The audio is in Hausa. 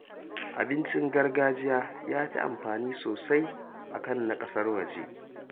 Abincin gargajiya ya fi amfani sosai a kan na ƙasar waje